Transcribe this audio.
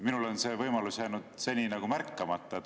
Minule on see võimalus jäänud seni nagu märkamata.